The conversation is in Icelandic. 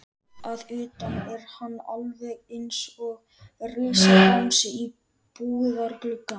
Að utan er hann alveg einsog risabangsi í búðarglugga.